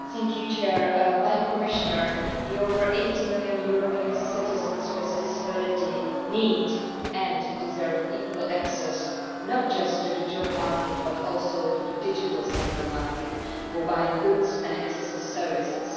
Madam President, Madam Commissioner, the more than 80 million European citizens with disabilities need and deserve equal access not just to the job market but also to the digital single market for buying goods and services.